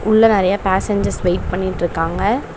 உள்ள நெறைய passengers wait பண்ணிட்ருக்காங்க.